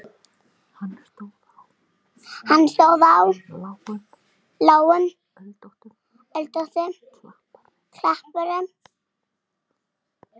Hann stóð á lágum öldóttum klapparhrygg.